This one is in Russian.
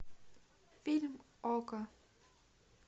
фильм окко